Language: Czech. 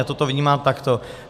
Já toto vnímám takto.